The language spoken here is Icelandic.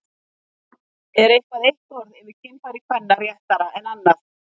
Er eitthvað eitt orð yfir kynfæri kvenna réttara en annað?